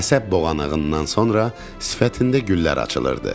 Əsəb boğanağından sonra sifətində güllər açılırdı.